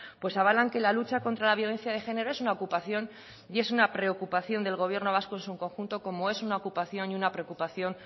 pues avalan que la lucha contra la violencia de género es una ocupación y es una preocupación del gobierno vasco en su conjunto como es una ocupación y una preocupación